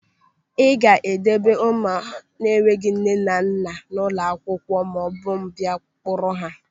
Ị ga-edeba ụmụaka enweghị nne na nna a n'ụlọ akwụkwọ maọbụ m bịa kpọrọ ha!